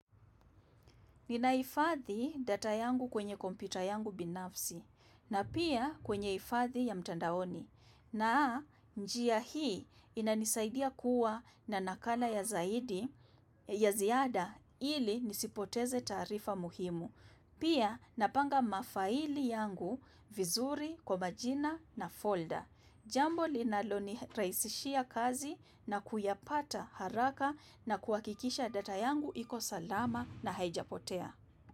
Ninahifadhi data yangu kwenye kompyuta yangu binafsi na pia kwenye hifadhi ya mtandaoni na njia hii inanisaidia kuwa na nakala ya zaidi, ya ziada ili nisipoteze taarifa muhimu. Pia napanga mafaili yangu vizuri, kwa majina na folder. Jambo linalonirahisishia kazi na kuyapata haraka na kuhakikisha data yangu iko salama na haijapotea.